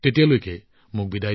এতিয়ালৈ অনুষ্ঠান সামৰিছো